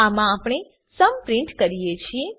આમાં આપણે સુમ પ્રીંટ કરીએ છીએ